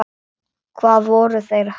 Hvað voru þeir að hugsa?